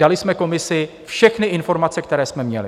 Dali jsme komisi všechny informace, které jsme měli.